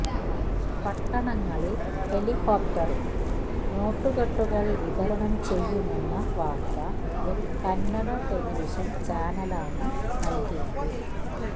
പട്ടണങ്ങളില് ഹെലികോപ്റ്ററില് നോട്ടുകെട്ടുകള് വിതരണം ചെയ്യുമെന്ന വാർത്ത ഒരു കന്നഡ ടെലിവിഷന് ചാനലാണ് നല്കിയത്